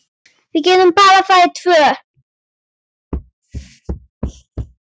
Við getum bara farið tvö.